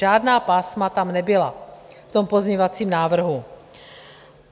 Žádná pásma tam nebyla, v tom pozměňovacím návrhu.